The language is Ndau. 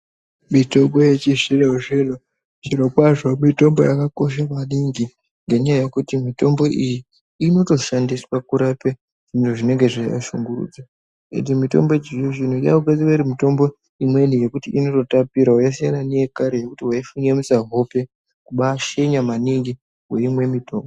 Mitombo yechizvino zvino zviro kwazvo mitombo yakakoshe maningi ngenyaya yekuti mitombo iyi inotoshandiswe kurape zviroo zvinenge zveiwashungurudza nekuti mitombo yechizvino zvino yaakugadzirwa iri mitombo imweni yekuti inoto tapirawo yasiyana neyekare yekuti waifinyamisa hipe kubaa shenya maningi weimwe mutombo.